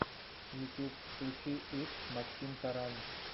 ютюб включи итс максимтаран